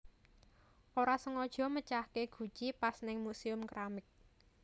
Ora sengojo mecahke guci pas ning Museum Keramik